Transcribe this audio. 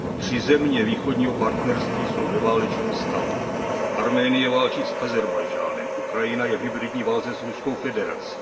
Tři země Východního partnerství jsou ve válečném stavu, Arménie válčí s Ázerbájdžánem, Ukrajina je v hybridní válce s Ruskou federací.